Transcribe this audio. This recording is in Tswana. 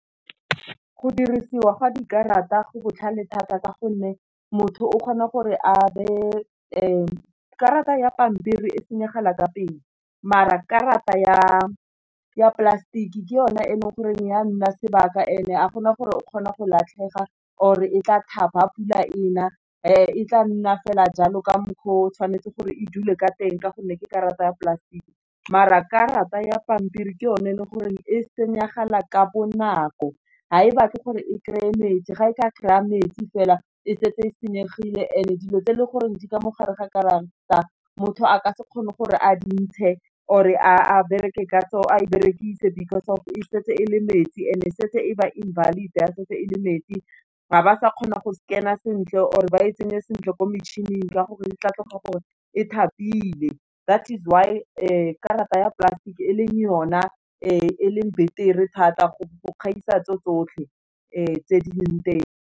Go dirisiwa ga dikarata go botlhale thata, ka gonne motho o kgona gore a be karata ya pampiri e senyegela ka pele, mara karata ya plastic ke yone e leng gore ya nna sebaka ene ga gona gore o kgona go latlhega or e tla thapa pula ena e tla nna fela jalo ka mokgwa o tshwanetse gore e dule ka teng ka gonne ke karata ya plastic, maar karata ya pampiri ke yone e le gore e senyegela ka bonako, ha e batle gore e kry-e metsi ga e ka kry-a metsi fela e setse e senyegile, ene dilo tse e le gore di ka mo gare ga karata motho a ka se kgone gore a di ntshe or e a berekise because e setse e le metsi and e setse e ba invalid ga setse e le metsi, ga ba sa kgona go scan-a sentle or e ba e tsenye sentle ko metšhining, ka gore di tla tloga gore e thapilwe that is why karata ya plastic e leng yona e leng betere thata go gaisa tse tsotlhe tse di leng teng.